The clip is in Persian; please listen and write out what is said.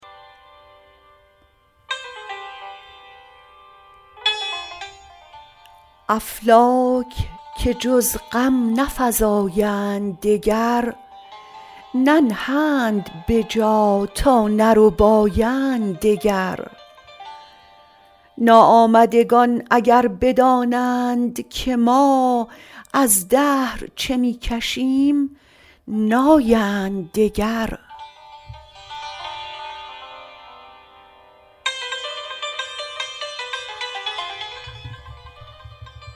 افلاک که جز غم نفزایند دگر ننهند به جا تا نربایند دگر ناآمدگان اگر بدانند که ما از دهر چه می کشیم نایند دگر